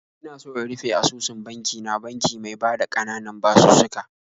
Ina so in rufe asusun banki na banki mai bada ƙananan basussuka.